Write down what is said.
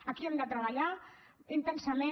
aquí hem de treballar intensament